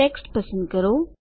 text પસંદ કરો